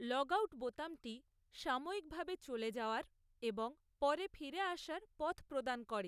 Logout বোতামটি সাময়িকভাবে চলে যাওয়ার এবং পরে ফিরে আসার পথ প্রদান করে।